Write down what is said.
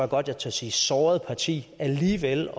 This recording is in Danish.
godt jeg tør sige såret parti alligevel